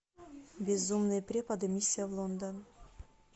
безумные преподы миссия в лондон